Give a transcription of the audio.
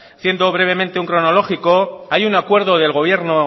haciendo brevemente un cronológico hay un acuerdo